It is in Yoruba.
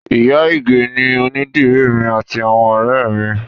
Ìyá ìgè ni onídìrí èmi àti àwọn ọ̀rẹ́ ẹ mi